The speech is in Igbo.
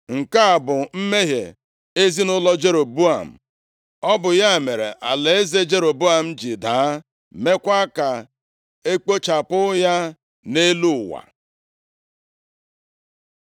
+ 13:34 \+xt 1Ez 12:30; 2Ez 17:21\+xt*Nke a bụ mmehie ezinaụlọ Jeroboam. Ọ bụ ya mere alaeze Jeroboam ji daa, meekwa ka e kpochapụ ya nʼelu ụwa.